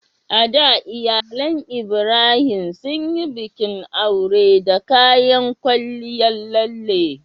A da, iyalan Ibrahim sun yi bikin aure da kayan kwalliyar lalle